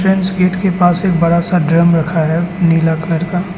मंच गेट के पास एक बड़ा सा ड्रम रखा है नीला कलर का।